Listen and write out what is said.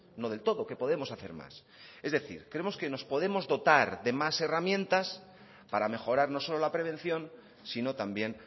no del todo que podemos hacer más es decir creemos que nos podemos dotar más herramientas para mejorar no solo la prevención sino también